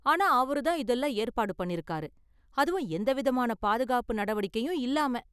ஆனா அவரு தான் இதெல்லாம் ஏற்பாடு பண்ணிருக்காரு, அதுவும் எந்த விதமான பாதுகாப்பு நடவடிக்கையும் இல்லாம.